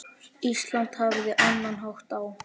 Ísland hafði annan hátt á.